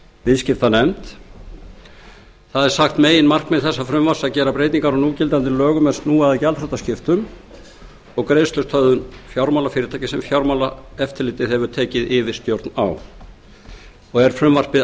viðskiptanefnd meginmarkmið þessa frumvarps er að gera breytingar á núgildandi lögum er snúa að gjaldþrotaskiptum og greiðslustöðvun fjármálafyrirtækja sem fjármálaeftirlitið hefur tekið yfir stjórn á frumvarpið er